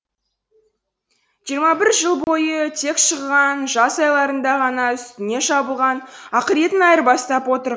жиырма бір жыл бойы тек шыжыған жаз айларында ғана үстіне жабылған ақыретін айырбастап отыр